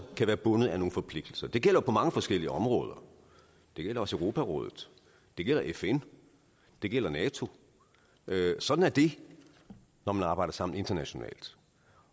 være bundet af nogle forpligtelser det gælder på mange forskellige områder det gælder også europarådet det gælder fn det gælder nato sådan er det når man arbejder sammen internationalt